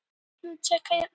Böðvar